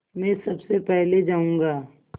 मैं सबसे पहले जाऊँगा